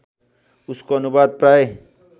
उसको अनुवाद प्राय